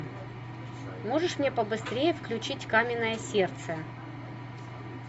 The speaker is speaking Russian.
можешь мне побыстрее включить каменное сердце